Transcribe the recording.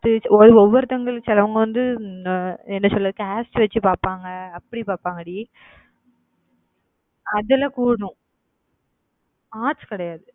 ஒவ்வொருத்தங்களும் சிலது வந்து அஹ் என்ன சொல்றது? caste வச்சு பாப்பாங்க அப்படி பாப்பாங்கடி, அதுல arts கிடையாது.